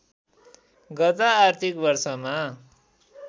गत आर्थिक वर्षमा